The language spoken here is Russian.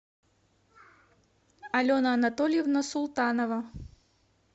алена анатольевна султанова